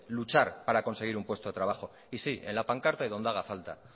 luchar para conseguir un puesto de trabajo y sí en la pancarta y donde haga falta